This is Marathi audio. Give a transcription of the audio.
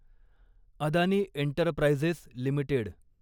Adani Enterprises limited